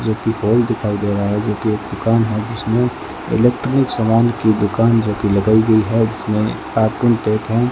जो पिकोल दिखाई दे रहा है जोकि एक दुकान है जिसमें इलेक्ट्रिक सामान की दुकान जोकि लगायी गई है जिसमें है।